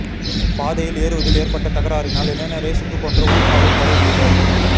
பாதையில் ஏறுவதில் ஏற்பட்ட தகராறினால் இளைஞரை சுட்டுக் கொன்ற ஊர்காவல்படை வீரர்